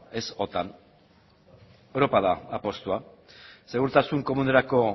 ez otan europa da apustua segurtasun komunerako